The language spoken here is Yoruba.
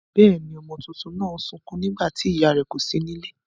Bẹ́ěni, ọmọ tuntun náà ń sukún nígbà tí ìyá rẹ̀ kò sí nílé.